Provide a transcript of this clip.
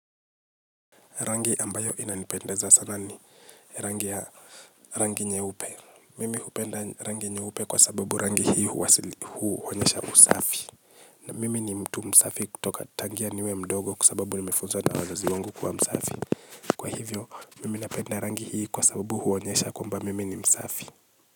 Rangi ambayo inanipendeza sana ni rangi ya rangi nyeupe. Mimi hupenda rangi nyeupe kwa sababu rangi hii huonyesha usafi. Na mimi ni mtu msafi kutoka tangia niwe mdogo kwasababu ni mefunzwa na wazazi wangu kuwa msafi. Kwa hivyo, mimi napenda rangi hii kwa sababu huonyesha kwamba mimi ni msafi.